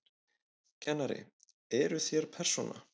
Kennari: Eruð þér persóna?